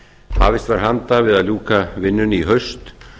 hafist var handa við að ljúka vinnunni í haust